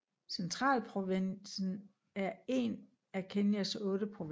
Centralprovinsen er en af Kenyas otte provinser